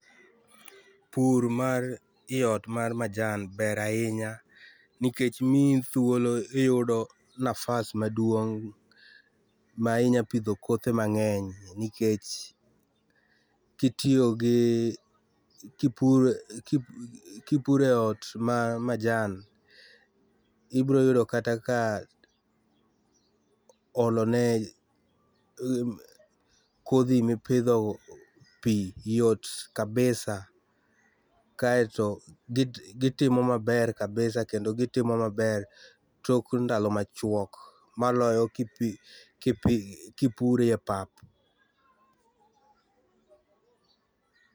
Pur mar iot mar majan ber ahinya nikech miyi thuolo iyudo nafas maduong' ma inya pidho kothe mang'eny nikech kitiyo gi kipure ot ma majan ibro yudo kaka ka olone kodhi mipidho pii yot kabisa kaeto git gitimo maber kabisa kendo gitimo maber tok ndalo machuok maloyo kipi kipi kipi kipurie pap.